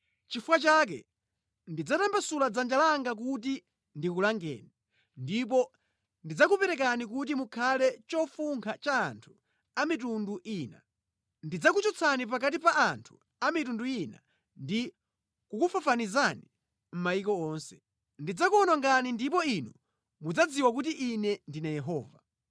Nʼchifukwa chake ndidzatambasula dzanja langa kuti ndikulangeni, ndipo ndidzakuperekani kuti mukhale chofunkha cha anthu a mitundu ina. Ndidzakuchotsani pakati pa anthu a mitundu ina ndi kukufafanizani mʼmayiko onse. Ndidzakuwonongani, ndipo inu mudzadziwa kuti Ine ndine Yehova!’ ”